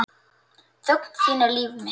Þögn þín er líf mitt.